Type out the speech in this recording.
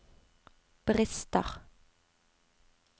brister